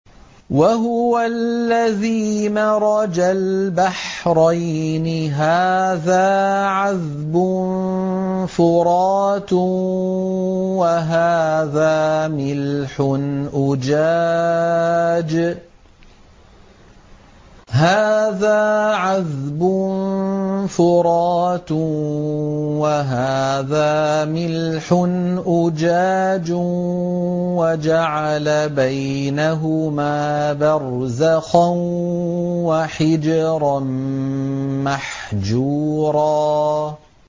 ۞ وَهُوَ الَّذِي مَرَجَ الْبَحْرَيْنِ هَٰذَا عَذْبٌ فُرَاتٌ وَهَٰذَا مِلْحٌ أُجَاجٌ وَجَعَلَ بَيْنَهُمَا بَرْزَخًا وَحِجْرًا مَّحْجُورًا